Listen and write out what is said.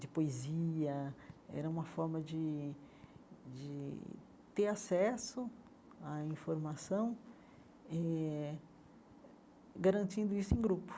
de poesia, era uma forma de de ter acesso à informação eh, garantindo isso em grupo.